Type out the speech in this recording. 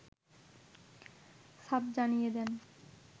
সাফ জানিয়ে দেন